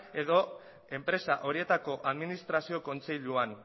edo enpresa horietako administrazio kontseiluan